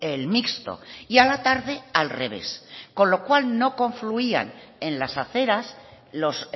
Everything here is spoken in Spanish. el mixto y a la tarde al revés con lo cual no confluían en las aceras los